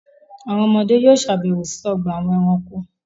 Àwọn ọmọdé yóò sàbẹ̀wò sí ọgbà-àwọn ẹranko.